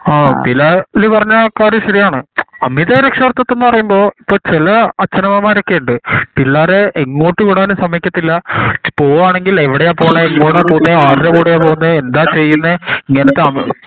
അഹ് അതില് അഹ് പറഞ്ഞ കാര്യം ശെരി ആണ് അമിത രക്ഷാകർത്തിതം പറയുമ്പോ ഇപ്പൊ ചില അച്ഛൻ അമ്മമാരൊക്കെ ഉണ്ട് പിള്ളേരെ ഇങ്ങോട്ടും വിടാൻ സമ്മയ്ക്കതുമില്ല പോവാണെങ്കിൽ എവിടെയാ പോണേ എങ്ങോട്ടു പോവുന്നെ അറബ് കൂടെ പോവുന്നേ എന്താ ചെയ്യുന്നേ ഇങ്ങനത്തെ അമി